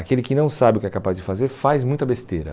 Aquele que não sabe o que é capaz de fazer faz muita besteira.